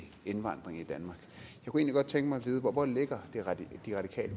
kunne egentlig godt tænke mig at vide hvor hvor ligger de radikale